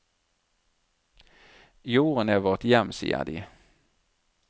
Jorden er vårt hjem, sier de.